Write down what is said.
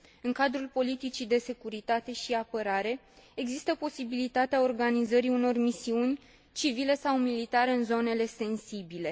În cadrul politicii de securitate și apărare, există posibilitatea organizării unor misiuni civile sau militare în zonele sensibile.